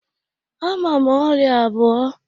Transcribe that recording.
Ama m ọrịa abụọ.